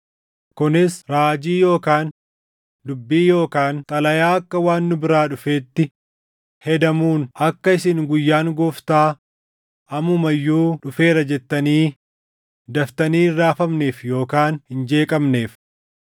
kunis raajii yookaan dubbii yookaan xalayaa akka waan nu biraa dhufeetti hedamuun akka isin guyyaan Gooftaa ammuma iyyuu dhufeera jettanii daftanii hin raafamneef yookaan hin jeeqamneef.